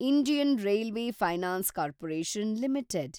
Indian railway finance corporation limited